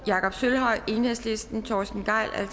jakob sølvhøj torsten gejl